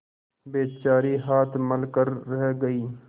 बेचारी हाथ मल कर रह गयी